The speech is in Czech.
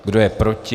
Kdo je proti?